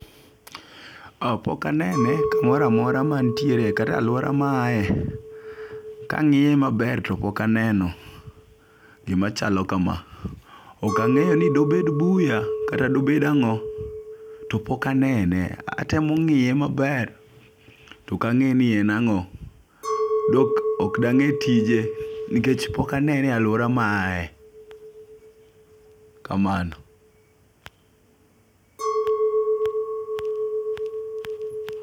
Ka pokanene kamoramora mantiere kata aluora ma ae kang'iye maber to pok aneno gimachalo kama. Ok ang'eyo ni dobed buya kata dobed ang'o, topok anene. Atemo ng'iye maber tokang'eyo ni en ang'o ,dok oka dange tije nikech pok anene e aluora ma aye kamano